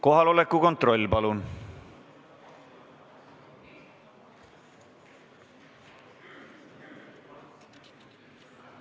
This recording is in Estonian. Kohaloleku kontroll, palun!